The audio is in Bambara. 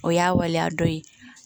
O y'a waleya dɔ ye